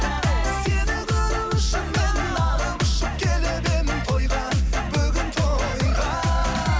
сені көру үшін мен алып ұшып келіп едім тойға бүгін тойға